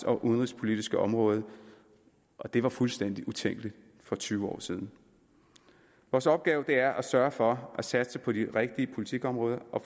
og udenrigspolitiske område og det var fuldstændig utænkeligt for tyve år siden vores opgave er at sørge for at satse på de rigtige politikområder og